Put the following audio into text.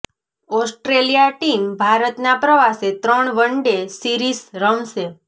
Australia team ભારતના પ્રવાસે ત્રણ વન ડે સીરિસ રમશે